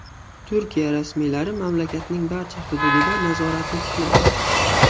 Turkiya rasmiylari mamlakatning barcha hududida nazoratni tikladi.